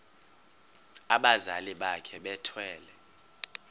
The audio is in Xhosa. abazali bakhe bethwele